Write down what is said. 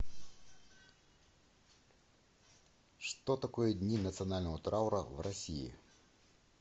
что такое дни национального траура в россии